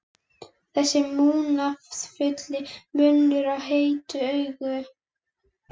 Þessi munúðarfulli munnur og heitu augu.